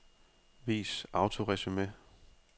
Vis autoresumé.